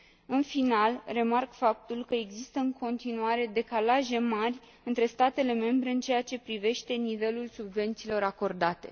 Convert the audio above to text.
În final, remarc faptul că există în continuare decalaje mari între statele membre în ceea ce privește nivelul subvențiilor acordate.